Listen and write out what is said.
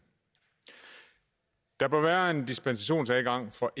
der bør være en dispensationsadgang for